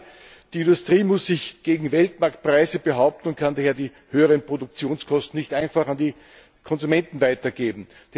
Gerade die Industrie muss sich gegen Weltmarktpreise behaupten und kann daher die höheren Produktionskosten nicht einfach an die Konsumenten weitergeben.